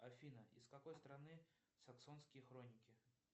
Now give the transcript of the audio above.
афина из какой страны саксонские хроники